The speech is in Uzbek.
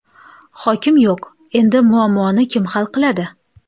Hokim yo‘q, endi muammoni kim hal qiladi?.